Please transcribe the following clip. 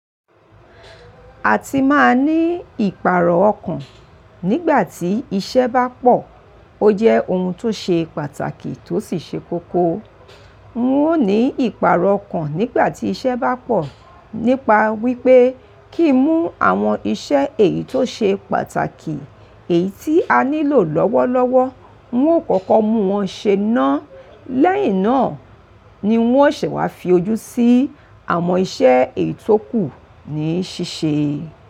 Àti máa ní ìpààrọ̀ ọkàn nígbà tí iṣẹ́ bá pọ̀, ó jẹ́ ohun tó ṣe pàtàkì tó sì ṣe kókó. N ó ní ìpààrọ̀ ọkàn nígbà tí iṣẹ́ bá pọ̀ nípa wípé kí mú àwọn iṣẹ́ èyí tó ṣe pàtàkì, èyí tí a nílò lọ́wọ́lọ́wọ́, ń ó kọ́kọ́ mú wọn ṣe ná. Lẹ́yìn náà ni ń ó ṣẹ̀ wá fi ojú sí àwọn iṣẹ́ èyí tó kù ní ṣíṣe.